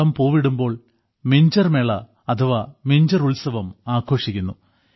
ചോളം പൂവിടുമ്പോൾ മിഞ്ചർ മേള അഥവാ മിഞ്ചർ ഉത്സവം ആഘോഷിക്കുന്നു